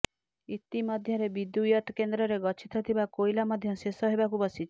ଇତି ମଧ୍ୟରେ ବିଦୁ୍ୟତ୍ କେନ୍ଦ୍ରରେ ଗଚ୍ଛିତ ଥିବା କୋଇଲା ମଧ୍ୟ ଶେଷ ହେବାକୁ ବସିଛି